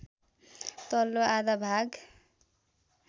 तल्लो आधा भाग